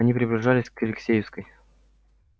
они приближались к алексеевской